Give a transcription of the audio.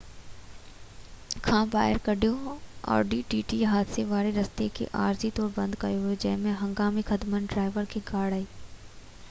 حادثي واري رستي کي عارضي طور تي بند ڪيو ويو هو جڏهن تہ هنگامي خدمتن ڊرائيور کي ڳاڙهي audi tt کان ٻاهر ڪڍيو